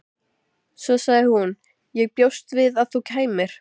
Svo sagði hún: Ég bjóst við að þú kæmir.